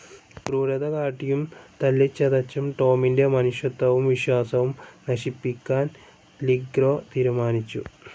ക്രൂരത കാട്ടിയും തല്ലിച്ചതച്ചതും ടോമിൻ്റെ മനുഷ്യത്വവും വിശ്വാസവും നശിപ്പിക്കാൻ ലിഗ്രെ തീരുമാനിച്ചു.